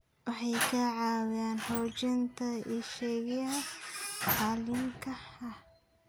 Waxay ka caawiyaan xoojinta iskaashiga caalamiga ah.